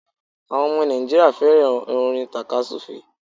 Áwon omo Nàìjíríà féràn orin tàka súfè é